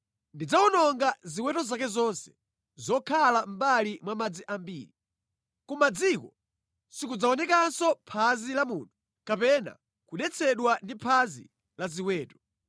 Ndidzawononga ziweto zake zonse zokhala mʼmbali mwa madzi ambiri. Ku madziko sikudzaonekanso phazi la munthu kapena kudetsedwa ndi phazi la ziweto.